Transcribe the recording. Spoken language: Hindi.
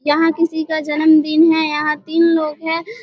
यहां किसी का जन्म दिन है यहां तीन लोग है।